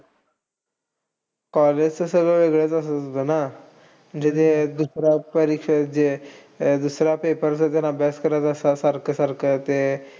College च सगळं वेगळं असायचं ना. म्हणजे त्या दुसऱ्या परीक्षेत जे, दुसऱ्या paper च पण अभ्यास करायचा सारखं-सारखं ते